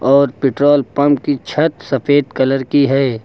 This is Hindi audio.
और पेट्रोल पंप की छत सफेद कलर की है।